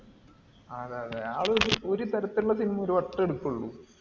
അതെ അതെ. ആൾ ഒരു തരത്തിലുള്ള cinema ഒരുവട്ടെ എടുക്കോള്ളു.